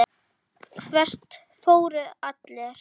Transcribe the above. Hvert fóru allir?